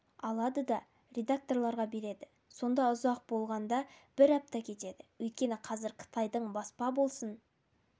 алады да редакторларға береді сонда ұзақ болғанда бір апта кетеді өйткені қазір қытайдың баспа болсын